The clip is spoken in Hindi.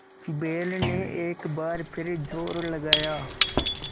बैल ने एक बार फिर जोर लगाया